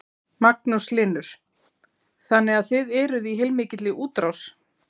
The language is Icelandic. Magnús Hlynur: Þannig að þið eruð í heilmikilli útrás?